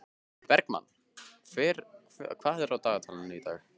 Bergmann, hvað er á dagatalinu í dag?